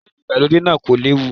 Hòtẹ́lìì ìgbàlódé náà kò léwu.